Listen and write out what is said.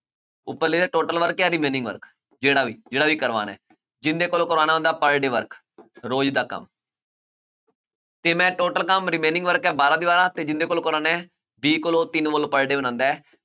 ਉੱਪਰ total work work ਜਿਹੜਾ ਵੀ ਜਿਹੜਾ ਵੀ ਕਰਵਾਉਣਾ ਹੈ ਜਿਹਦੇ ਕੋਲੋਂ ਕਰਵਾਉਣਾ ਉਹਦਾ per day work ਰੋਜ ਦਾ ਕੰਮ ਤੇ ਮੈਂ total ਕੰਮ remaining work ਹੈ ਬਾਰਾਂ ਦੀਵਾਰਾਂ ਤੇ ਜਿਹਦੇ ਕੋਲੋਂ ਕਰਵਾਉਣਾ ਹੈ b ਕੋਲੋਂ ਤਿੰਨ wall per day ਬਣਾਉਂਦਾ ਹੈ